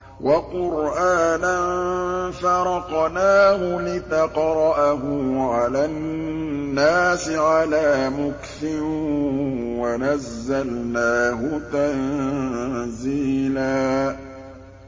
وَقُرْآنًا فَرَقْنَاهُ لِتَقْرَأَهُ عَلَى النَّاسِ عَلَىٰ مُكْثٍ وَنَزَّلْنَاهُ تَنزِيلًا